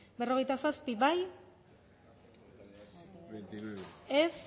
berrogeita zazpi bozkatu